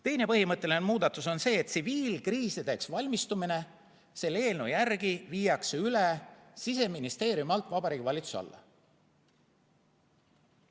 Teine põhimõtteline muudatus on see, et tsiviilkriisideks valmistumine selle eelnõu järgi viiakse üle Siseministeeriumi alt Vabariigi Valitsuse alla.